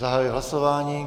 Zahajuji hlasování.